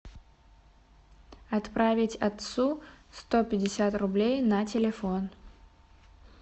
отправить отцу сто пятьдесят рублей на телефон